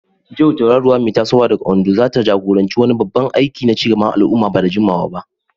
Joy, tauraruwa mai tasowa daga Ondo, zata jagoranci wani babban aiki na ci gaban al'umma ba da jimawa ba.